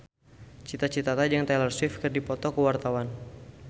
Cita Citata jeung Taylor Swift keur dipoto ku wartawan